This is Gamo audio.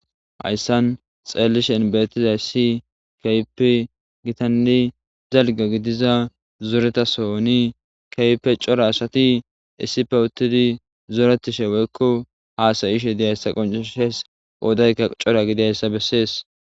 hayssan xeellishen bettizay si keypi gitanne zalgo gidiza zoretasoni kaype cora asati issipe uttidi zoretishe woykko haasayishe diyayssa qonceshees oodaykka cora gidiayssa bessees